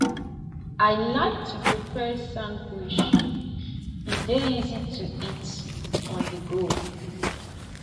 i like to prepare sandwich e dey easy to eat onthego